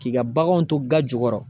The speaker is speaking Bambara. K'i ka baganw to ga jukɔrɔ